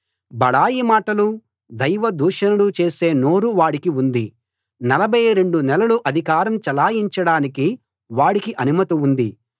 బడాయి మాటలూ దైవ దూషణలూ చేసే నోరూ వాడికి ఉంది నలభై రెండు నెలలు అధికారం చలాయించడానికి వాడికి అనుమతి ఉంది